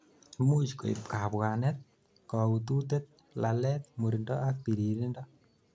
imuch koib kabwanet, kaututet, lalet, murindo ak biririndo